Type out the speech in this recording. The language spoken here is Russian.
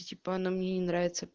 и типа она мне не нравится